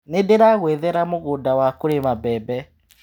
Nĩndĩragwethera mũgũnda wa kũrĩma mbembe.